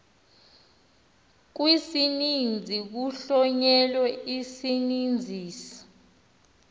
kwisininzi kuhlonyelwe isininzisi